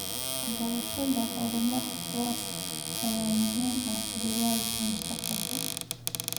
Waxbarashada horumar waara ayaa muhiim u ah jiilalka mustaqbalka.